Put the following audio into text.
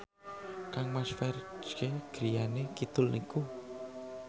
kangmas Ferdge griyane kidul niku